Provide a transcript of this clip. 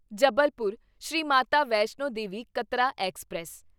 Jabalpur Shri Mata Vaishno Devi Katra express